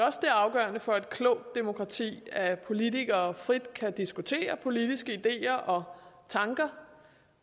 også det er afgørende for et klogt demokrati at politikere frit kan diskutere politiske ideer og tanker